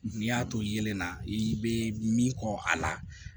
N'i y'a to yelen na i bɛ min kɔ a la